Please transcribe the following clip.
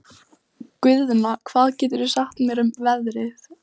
Guðna, hvað geturðu sagt mér um veðrið?